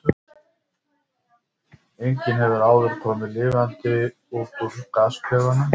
Enginn hefur áður komið lifandi út úr gasklefanum.